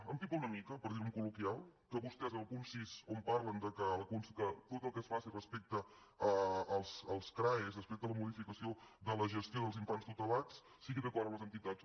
empipa una mica per dir ho en col·loquial que vostès en el punt sis on parlen que tot el que es faci respecte als crae respecte a la modificació de la gestió dels infants tutelats sigui d’acord amb les entitats